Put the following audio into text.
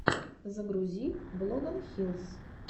загрузи блогонхилс